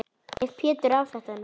Ef Pétur á þetta nú.